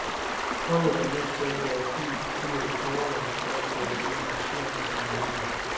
Holdet er nødt til at gøre fin figur i foråret for at falde i arrangørernes nåde.